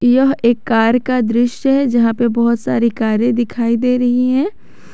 यह एक कार का दृश्य है जहां पे बहुत सारे कारे दिखाई दे रही है।